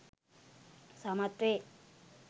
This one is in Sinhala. සමත් වේ.